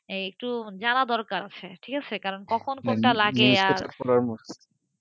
এই একটু জানা দরকারঠিক আছে? কখন কোনটা লাগে আর,